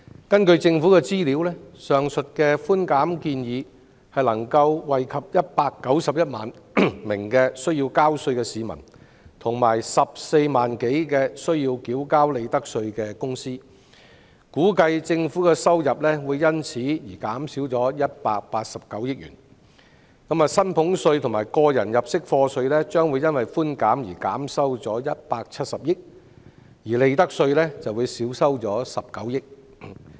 根據政府的資料，上述的寬減建議可惠及191萬名需要交稅的市民及14多萬間須繳交利得稅的公司，估計政府的收入會因而減少189億元，其中薪俸稅和個人入息課稅將會因寬減而少收170億元，利得稅則會少收19億元。